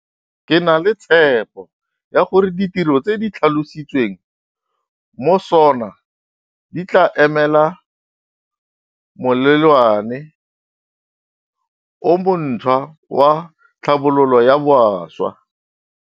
Ke na le tshepo ya gore ditiro tse di tlhalositsweng mo SoNA di tla emela molelwane o montšhwa wa tlhabololo ya bašwa.